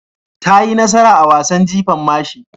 Ta yi nasara a wasan jifan mashi.